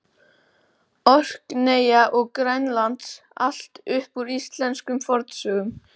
Orkneyja og Grænlands, allt upp úr íslenskum fornsögum.